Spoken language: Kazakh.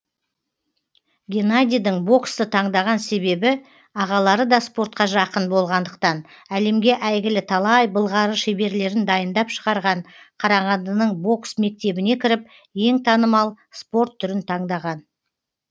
геннадийдің боксты таңдаған себебі ағалары да спортқа жақын болғандықтан әлемге әйгілі талай былғары шеберлерін дайындап шығарған қарағандының бокс мектебіне кіріп ең танымал спорт түрін таңдаған